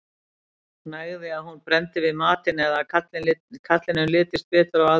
nægði að hún brenndi við matinn eða að karlinum litist betur á aðra